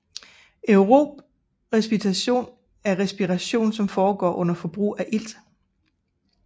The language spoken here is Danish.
Aerob respiration er respiration som foregår under forbrug af ilt